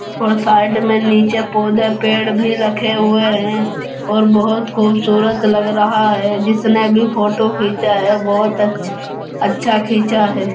और साइड में नीचे पौधे पेड़ भी रखे हुए है और बहुत खूबसूरत लग रहा है जिसने भी फोटो खींचा है बहुत अच्छ अच्छा खींचा है।